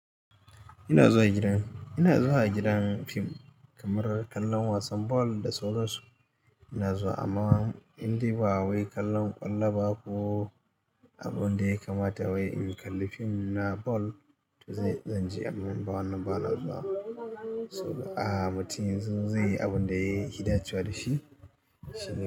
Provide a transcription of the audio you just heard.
Ina zuwa gidan, ina zuwa gidan fina-finai kamar kallon wasan bal da sauran su. Ina zuwa amma indai ba wai kallon ƙwallo ba ko abin da ya kamata wai in kalli fim na bal to zan iya in je amma in ba wannan ba na zuwa. Mutum yanzu zai yi abin da ya fi dacewa da shi, shi ne.